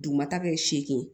Dugumata bɛɛ seegin